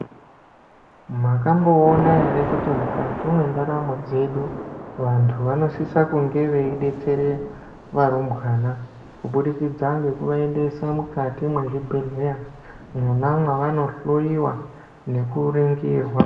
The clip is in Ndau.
Mwakamboona ere kuti mukati mwendaramo dzedu vantu vanosisa kunge veidetsere varumbwana kubudikidza ngekuvaendesa mukati mwezvibhehleya mwona mwavanohloiwa nekuringirwa.